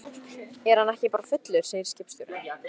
Er hann ekki bara fullur, segir skipstjórinn.